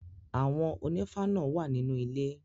Àwọn ònífá náà wà nínú ilé.